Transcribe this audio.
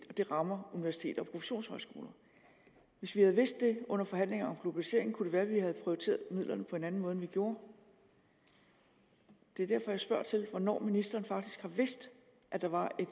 det rammer universiteter og professionshøjskoler hvis vi havde vidst det under forhandlinger om globalisering kunne det være at vi havde prioriteret midlerne på en anden måde end vi gjorde det er derfor jeg spørger til hvornår ministeren faktisk har vidst at der var et